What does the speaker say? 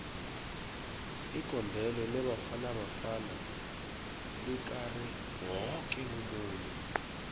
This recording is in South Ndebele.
igondelo lebafana bafana likare woke umuntu